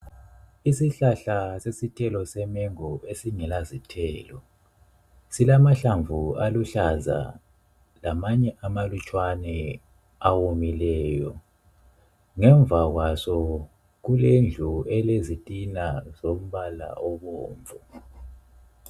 Isihlahla sesithelo semango esingela zithelo silamahlamvu aluhlaza lamanye amalutshwana awomileyo. Ngemva kwaso kulendlu elezitina zombala obomvu.